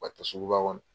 Ka taa suguba kɔnɔ